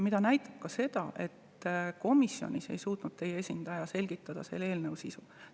Seda näitab ka see, et komisjonis ei suutnud teie esindaja selgitada selle eelnõu sisu.